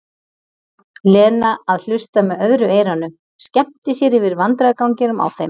Lena að hlusta með öðru eyranu, skemmti sér yfir vandræðaganginum á þeim.